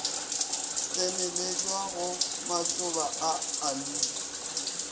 tseneletšwa ga matšoba a aloe